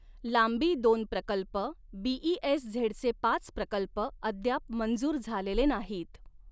लांबी दोन प्रकल्प बीईएसझेडचे पाच प्रकल्प अद्याप मंजूर झालेले नाहीत.